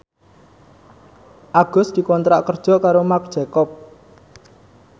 Agus dikontrak kerja karo Marc Jacob